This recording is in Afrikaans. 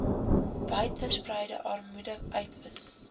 wydverspreide armoede uitwis